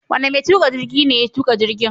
Wane mai tuƙa jirgi ne ya tuƙa jirgin?